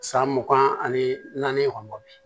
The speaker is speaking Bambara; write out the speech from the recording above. San mugan ani naani kɔni bi